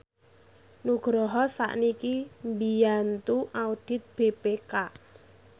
Nugroho sakniki mbiyantu audit BPK